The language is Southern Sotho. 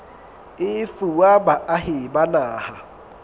e fuwa baahi ba naha